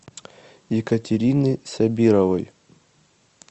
екатерины сабировой